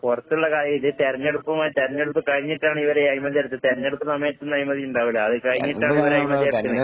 പൊറത്തുള്ള കാര്യം ഇത് തെരഞ്ഞെടുപ്പുമായി തെരഞ്ഞെടുപ്പ് കഴിഞ്ഞിട്ടാണ് ഇവര് അഴിമതി നടത്തിയത്. തെരഞ്ഞെടുപ്പ് സമയത്തൊന്നും അഴിമതി ഇണ്ടാവൂല്ല. അത് കഴിഞ്ഞിട്ടാണ് ഇവര് അഴിമതി നടക്കുന്നത്.